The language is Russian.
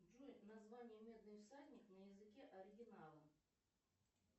джой название медный всадник на языке оригинала